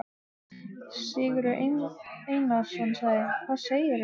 Sigurður Einarsson: Hvað segirðu?